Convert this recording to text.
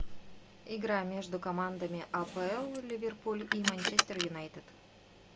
игра между командами апл ливерпуль и манчестер юнайтед